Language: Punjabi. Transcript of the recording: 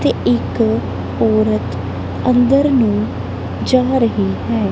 ਤੇ ਇੱਕ ਔਰਤ ਅੰਦਰ ਨੂੰ ਜਾ ਰਹੀ ਹੈ।